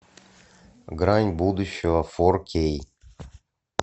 грань будущего фор кей